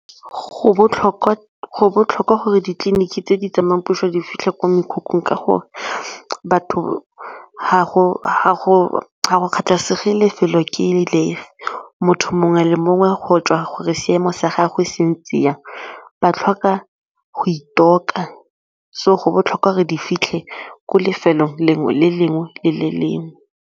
Go botlhokwa go botlhokwa gore ditleliniki tse di tsamayang puso di fitlhe ko mekhukhung ka gore batho ga go kgathalasege lefelo ke lefe motho mongwe le mongwe go tswa gore seemo sa gagwe se ntse jang ba tlhoka go itshoka so go botlhokwa gore di fitlhe ko lefelong lengwe le lengwe le le lengwe.